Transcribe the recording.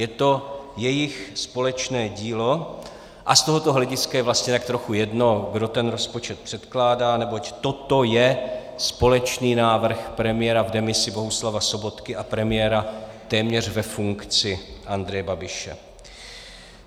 Je to jejich společné dílo a z tohoto hlediska je vlastně tak trochu jedno, kdo ten rozpočet předkládá, neboť toto je společný návrh premiéra v demisi Bohuslava Sobotky a premiéra téměř ve funkci Andreje Babiše.